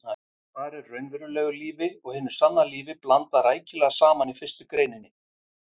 Þar er raunverulegu lífi og hinu sanna lífi blandað rækilega saman í fyrstu greininni.